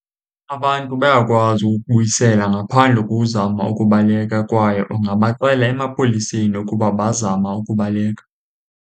Abantu bayakwazi ukubuyisela ngaphandle kozama ukubaleka, kwaye ungabaxela emapoliseni ukuba bazama ukubaleka.